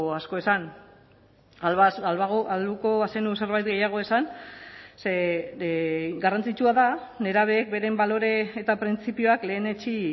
asko esan ahalko bazenu zerbait gehiago esan ze garrantzitsua da nerabeek beren balore eta printzipioak lehenetsi